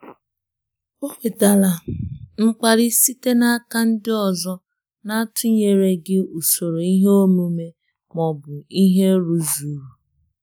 Ọ nwetara mkpali site n'aka ndị ọzọ n'atụnyereghị usoro ihe omume ma ọ bụ ihe rụzuru.